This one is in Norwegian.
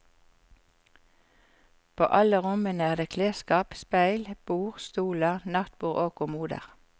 På alle rommene er det klesskap, speil, bord, stoler, nattbord og kommoder.